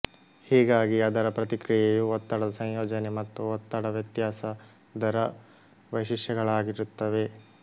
ಹೀಗಾಗಿ ಅದರ ಪ್ರತಿಕ್ರಿಯೆಯು ಒತ್ತಡದ ಸಂಯೋಜನೆ ಮತ್ತು ಒತ್ತಡ ವ್ಯತ್ಯಾಸ ದರ ವೈಶಿಷ್ಟ್ಯಗಳಾಗಿರುತ್ತವೆ